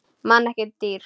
Mann en ekki dýr.